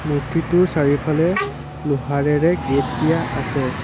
মূৰ্ত্তিটোৰ চাৰিওফালে লোহাৰেৰে গেট দিয়া আছে।